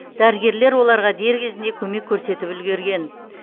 дәрігерлер оларға дер кезінде көмек көрсетіп үлгерген